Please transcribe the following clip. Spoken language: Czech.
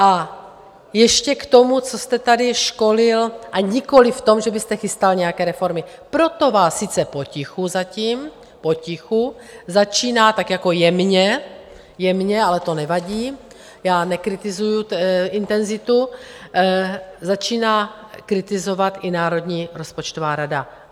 A ještě k tomu, co jste tady školil, a nikoliv v tom, že byste chystal nějaké reformy, proto vás sice potichu zatím, potichu začíná tak jako jemně, jemně, ale to nevadí, já nekritizuju intenzitu, začíná kritizovat i Národní rozpočtová rada.